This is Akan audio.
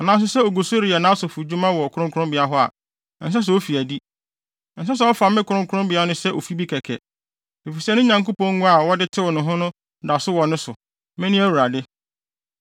anaa nso sɛ ogu so reyɛ nʼasɔfodwuma wɔ kronkronbea hɔ a, ɛnsɛ sɛ ofi adi. Ɛnsɛ sɛ ɔfa me kronkronbea no sɛ ofi bi kɛkɛ, efisɛ ne Nyankopɔn ngo a wɔde tew ne ho no da so wɔ ne so. Mene Awurade.